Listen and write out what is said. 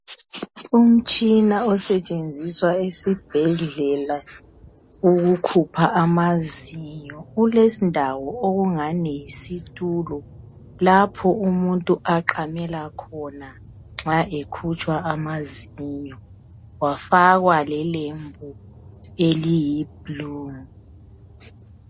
Umtshina osetshenziswa esibhedlela ukukhupha amazinyo. Ulendawo okungani yisitulo lapho umuntu aqamela khona nxa ekhutshwa amazinyo. Wafakwa lelembu eliyi blue.